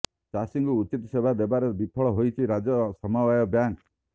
ଚାଷୀଙ୍କୁ ଉଚିତ୍ ସେବା ଦେବାରେ ବିଫଳ ହୋଇଛି ରାଜ୍ୟ ସମବାୟ ବ୍ୟାଙ୍କ୍